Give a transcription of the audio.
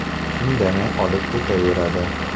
Indamay olib ketaveradi.